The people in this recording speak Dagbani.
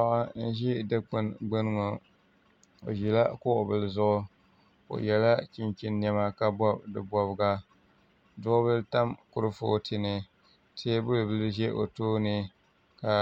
Paɣa n ʒi Dikpuni gbuni ŋo o ʒila kuɣu bili zuɣu o yɛla chinchin niɛma ka bob di bobga duɣubili tam kurifooti ni teebuli bili ʒɛ o tooni ka